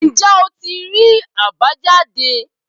Ǹjẹ́ o tí rí àbájáde?